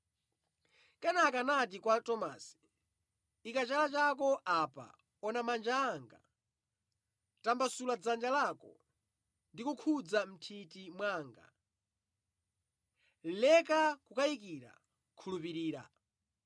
Kenaka anati kwa Tomasi, “Ika chala chako apa; ona manja anga. Tambasula dzanja lako ndi kukhudza mʼnthiti mwanga. Leka kukayika, khulupirira.”